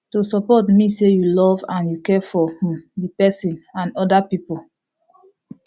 to support mean say you love and you care for um the person and other people